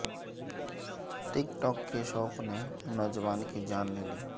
ٹک talk کے شوق نے نوجوان کی جان لے لی